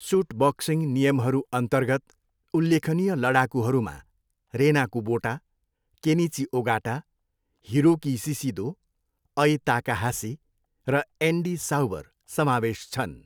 Suit boxing नियमहरूअन्तर्गत उल्लेखनीय लडाकुहरूमा Rena Kubota, Kenichi Ogata, Hiroki Shishido, Ai Takahashi र एन्डी साउवर समावेश छन्।